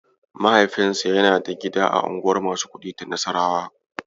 Mahaifinsa yana da gida a unguwar masu kuɗi ta Nassarawa.